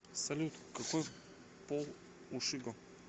салют какой пол у шиго